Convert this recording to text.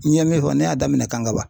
N ye min fɔ ne y'a daminɛ KANGABA.